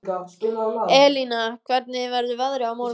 Elina, hvernig verður veðrið á morgun?